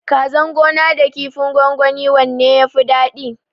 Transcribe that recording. Kazan gona da kifin gwangwani wanne yafi dadi?